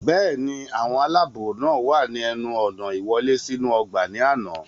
bẹ́ẹ̀ni, àwọn aláàbò náà wà ní ẹnu ọ̀nà ìwọlé sínú ọgbà ní àná